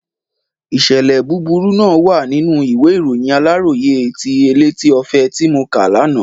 Ìṣẹ̀lẹ̀ búburú náà wà nínú ìwé ìròyìn Aláròyé àti Elétí Ọfẹ ti mo kà lánàá.